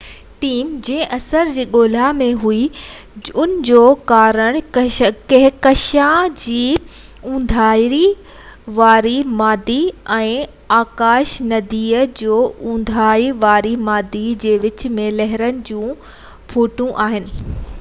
team جنهن اثر جي ڳولا ۾ هئي ان جو ڪارڻ ڪهڪشان جي اُونداهي واري مادي ۽ آڪاش ندي جو اُونداهي واري مادي جي وچ ۾ لهرن جون قوتون آهن